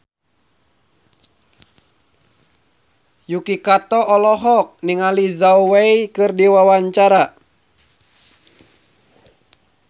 Yuki Kato olohok ningali Zhao Wei keur diwawancara